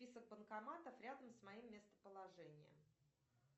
список банкоматов рядом с моим местоположением